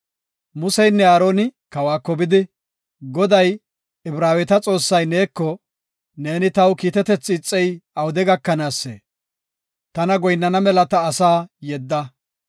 Museynne Aaroni kawako bidi, “Goday, Ibraaweta Xoossay neeko, ‘Neeni taw kiitetethi ixey awude gakanaasee? Tana goyinnana mela ta asaa yedda.